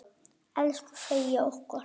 Elsku Freyja okkar.